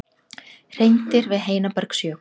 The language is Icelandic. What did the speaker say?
Hreindýr við Heinabergsjökul.